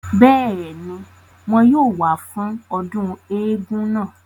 bẹ́ẹ̀ni, wọn yóò wá fún ọdún eégún náà